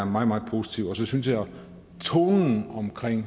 meget meget positivt så synes jeg at tonen omkring